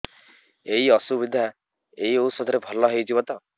ଏଇ ଅସୁବିଧା ଏଇ ଔଷଧ ରେ ଭଲ ହେଇଯିବ ତ